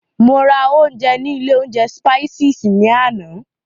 Mo ra ounjẹ ní ilé oúnjẹ Spices ní àná.